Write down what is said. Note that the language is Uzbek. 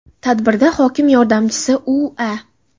Tadbirda hokim yordamchisi U.A.